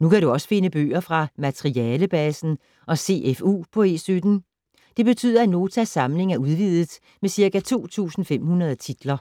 Nu kan du også finde bøger fra Materialebasen og CFU på E17. Det betyder, at Notas samling er udvidet med ca. 2.500 titler.